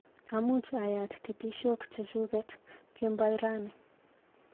Amuch ayat titishok chechuket kemboi rani.